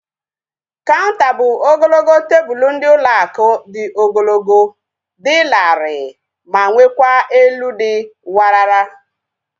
Kaunter bụ ogologo tebụlu ndị ụlọ akụ dị ogologo, dị larịị ma nwekwa elu dị warara